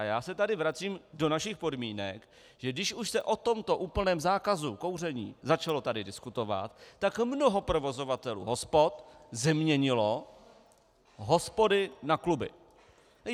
A já se tady vracím do našich podmínek, že když už se o tomto úplném zákazu kouření začalo tady diskutovat, tak mnoho provozovatelů hospod změnilo hospody na kluby.